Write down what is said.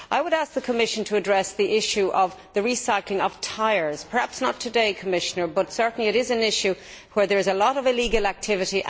I would ask the Commission to address the issue of recycling tyres perhaps not today, Commissioner as this certainly is an area where there is a lot of illegal activity.